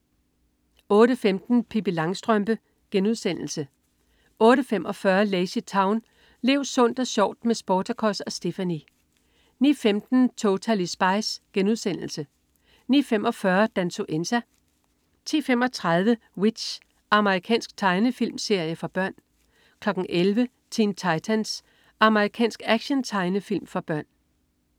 08.15 Pippi Langstrømpe* 08.45 LazyTown. Lev sundt og sjovt med Sportacus og Stephanie! 09.15 Totally Spies* 09.45 Dansuenza* 10.35 W.i.t.c.h. Amerikansk tegnefilmserie for børn 11.00 Teen Titans. Amerikansk actiontegnefilm for børn